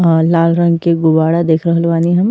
आ लाल रंग के गुबाड़ा देख रहल बानी हम।